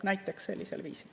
Näiteks sellisel viisil.